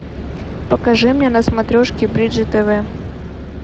покажи мне на смотрешке бридж тв